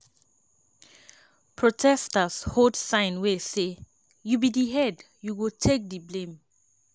protesters hold sign wey say ‘you be di head you go take di blame’.